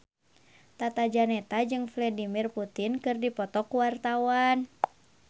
Tata Janeta jeung Vladimir Putin keur dipoto ku wartawan